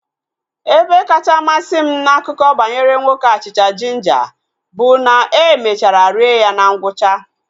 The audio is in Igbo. Ebe kacha masị m na akụkọ banyere nwoke achịcha jinja bụ na e mechara rie ya na ngwụcha